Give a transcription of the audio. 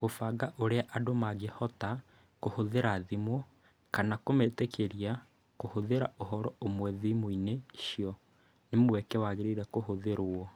Kũbanga ũrĩa andũ mangĩhota kũhũthĩra thimũ, kana kũmetĩkĩria kũhũthĩra ũhoro ũmwe thimũ-inĩ icio, nĩ mweke wagĩrĩire kũhũthĩrũo.